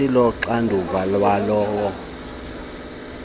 asilo xanduva lalowo